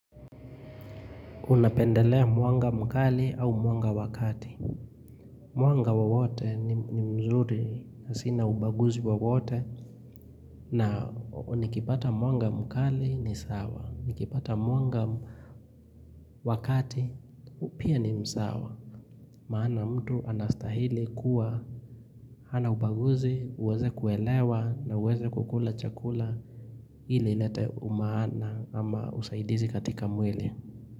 Unapendelea mwanga mkali au mwanga wa kati. Mwanga wowote ni mzuri, sina ubaguzi wowote na nikipata mwanga mkali ni sawa, nikipata mwanga wakati pia ni sawa. Maana mtu anastahili kuwa, hana ubaguzi, uweze kuelewa na uweze kukula chakula ili ilete umaana ama usaidizi katika mwili.